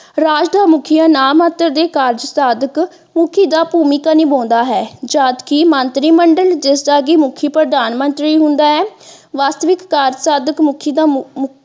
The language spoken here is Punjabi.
ਰਾਜ ਦੇ ਮੁੱਖੀਆ ਨਾ ਮਾਤਰ ਦੇ ਕਾਰਜ ਸਾਧਕ ਮੁੱਖੀ ਦਾ ਭੂਮਿਕਾ ਨਿਭਾਉਂਦਾ ਹੈ ਜਦ ਕਿ ਮੰਤਰੀ ਮੰਡਲ ਜਿਸ ਦਾ ਕਿ ਮੁੱਖੀ ਪ੍ਰਧਾਨਮੰਤਰੀ ਹੁੰਦਾ ਹੈ ਵਾਸਤਵਿਕ ਕਾਰਜ ਸਾਧਕ ਮੁੱਖੀ ਦਾ .